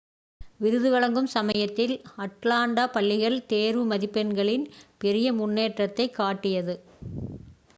விருது வழங்கும் சமயத்தில் அட்லாண்டா பள்ளிகள் தேர்வு மதிப்பெண்களில் பெரிய முன்னேற்றத்தைக் காட்டியது